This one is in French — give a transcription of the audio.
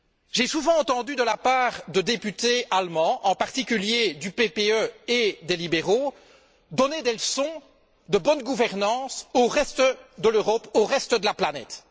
J'ai souvent entendu des députés allemands, en particulier du PPE et des libéraux, donner des leçons de bonne gouvernance au reste de l'Europe, au reste de la planète.